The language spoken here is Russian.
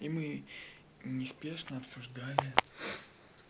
и мы неспешно обсуждали